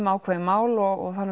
ákveðin mál og það